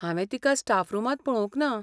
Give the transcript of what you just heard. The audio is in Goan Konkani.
हांवें तिका स्टाफ रुमांत पळोवंक ना.